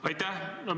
Aitäh!